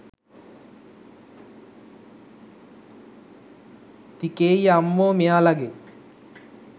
තිකේයියා අම්මෝ මේයාලගෙ